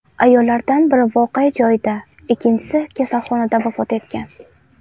Ayollardan biri voqea joyida, ikkinchisi kasalxonada vafot etgan.